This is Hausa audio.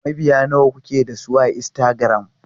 Mabiya nawa kuke da su a Instagram?